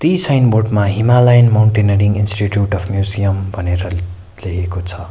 यी sign board मा Himalayan Mountaineering Institute of museum भनेर ले लेखेको छ।